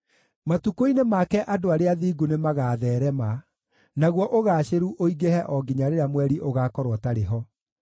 Matukũ-inĩ make andũ arĩa athingu nĩmagatheerema; naguo ũgaacĩru ũingĩhe o nginya rĩrĩa mweri ũgaakorwo ũtarĩ ho.